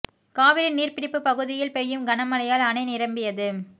காவிரி நீர் பிடிப்பு பகுதிகளில் பெய்யும் கன மழையால் அணை நிரம்பியது